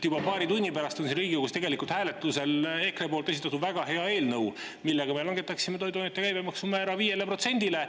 Juba paari tunni pärast on siin Riigikogus hääletusel EKRE esitatud väga hea eelnõu, millega me langetaksime toiduainete käibemaksu määra 5%-le.